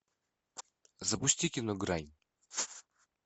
запусти кино грань